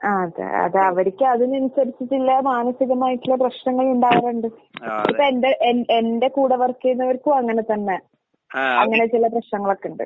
ആഹ് അതെ. അത് അവർക്ക് അതിനനുസരിച്ചിട്ടുള്ള മാനസികമായിട്ടുള്ള പ്രശ്നങ്ങൾ ഇണ്ടാവണ്ണ്ട്. ഇപ്പെന്റെ എൻ എന്റെ കൂടെ വർക്ക് ചെയ്യുന്നവർക്കും അങ്ങനെ തന്നെ. അങ്ങനെ ചില പ്രശ്ങ്ങളൊക്കിണ്ട്.